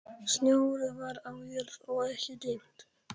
Snjór var á jörð og ekki dimmt.